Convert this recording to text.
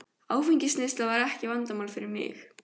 Áfengisneysla var ekkert vandamál fyrir mig.